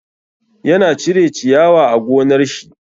Ya na cire ciyawa a gonar shi.